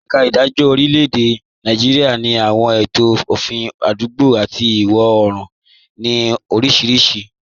Ẹ̀ka ìdájọ́ lórílẹ̀-èdè Nàìjíríà ní àwọn ètò òfin àdúgbò àti ìwọ̀ oòrùn, tí ń fi oríṣiríṣi òfin orílẹ̀-èdè náà hàn.